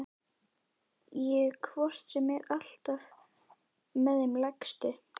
Ég er hvort sem er alltaf með þeim lægstu.